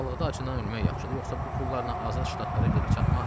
Bataqlıqda acından ölmək yaxşıdır, yoxsa bu pullarla Azad Ştatlara gedib çatmaq?